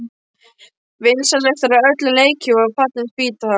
Vinsælastur af öllum leikjum var Fallin spýta!